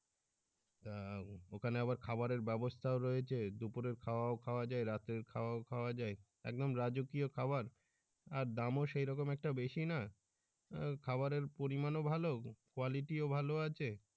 তা ওখানে আবার খাবারের ব্যাবস্থাও রয়েছে দুপুরের খাওয়াও খাওয়া যায় রাতের খাওয়াও খাওয়া যায় একদম রাজকীয় খাবার আর দামও সেইরকম একটা বেশি না আহ খাবারের পরিমানও ভালো quality ও ভালো আছে